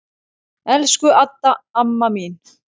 Elsku Adda amma mín.